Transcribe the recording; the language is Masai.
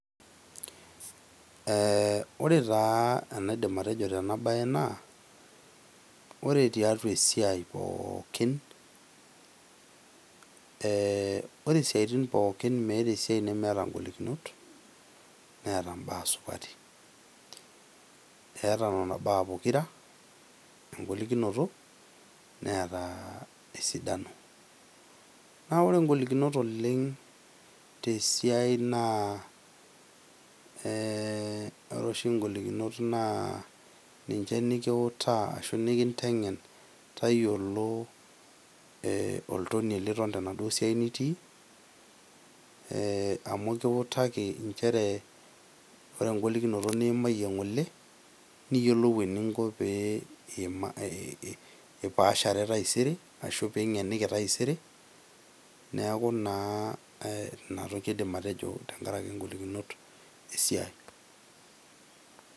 Ee ore taa enaidim ataejo tena siai naa ore tiatua esiai pookin ee ore isiatin pookin , meeta esiai nemeeta ngolikinot , neeta mbaa supati. Eeeta nena baa pokira, eeta engolikinoto neeta esidano. Naa ore ngolikinot oleng ,tesiaai naa ,ore oshi ngolikinot ninche nikutaa ashu nikintengen, tayiolo olntoniei liton tenaduoo siai nitii amu ekiutaki , nchere ore engolikinoto niimaayie ngole niyiolou eninko pe ipaashere taisere ashu pingeniki taisere , niaku naa inatoki aidim atejo tenkaraki ngolikinot esiai.